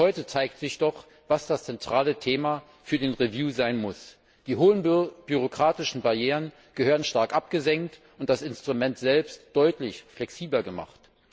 Schon heute zeigt sich doch, was das zentrale Thema für den Review sein muss Die hohen bürokratischen Barrieren gehören stark abgesenkt und das Instrument selbst deutlich flexibler gemacht.